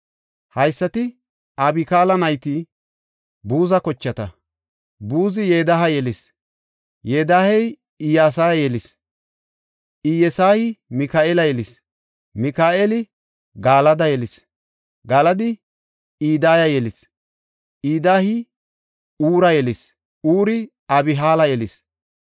Haysati Abikaala nayti Buza kochata. Buzi Yedaya yelis; Yedayey Iyesaya yelis; Iyesayi Mika7eela yelis; Mika7eeli Galada yelis; Galadi Idaya yelis; Idayi Huura yelis; Huuri Abihaala yelis.